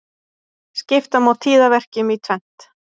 Skipta má tíðaverkjum í tvennt.